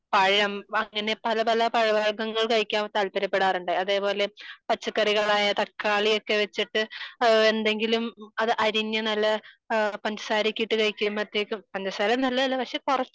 പഴം അങ്ങനെ പല പല പഴവർഗങ്ങൾ കഴിക്കാൻ താല്പര്യപ്പെടാറുണ്ട് . അതേപോലെ പച്ചക്കറികളായ തക്കാളി ഒക്കെ വച്ചിട്ട് എന്തെങ്കിലും അത് അരിഞ്ഞു നല്ല പഞ്ചസാര ഒക്കെ ഇട്ടു കഴിയ്ക്കും പഞ്ചസാര നല്ലതല്ല പക്ഷെ കൊറച്ചു